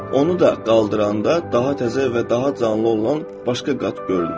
Onu da qaldıranda daha təzə və daha canlı olan başqa qat görünür.